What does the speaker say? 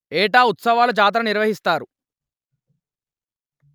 ఏటా ఉత్సవాలు జాతర నిర్వహిస్తారు